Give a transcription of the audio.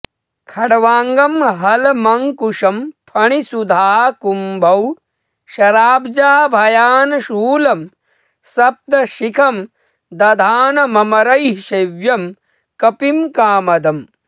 खट्वाङ्गं हलमङ्कुशं फणिसुधाकुम्भौ शराब्जाभयान् शूलं सप्तशिखं दधानममरैः सेव्यं कपिं कामदम्